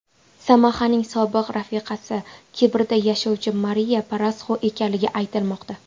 Samahaning sobiq rafiqasi Kiprda yashovcha Mariya Parasxu ekanligi aytilmoqda.